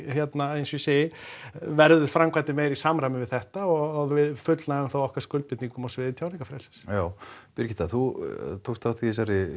eins og ég segi verður framkvæmdin meira í samræmi við þetta og við fullnægjum þá okkar skuldbindingum á sviði tjáningarfrelsis já Birgitta þú tókst þátt í